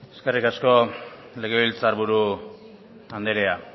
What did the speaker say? eskerrik asko legebiltzar buru anderea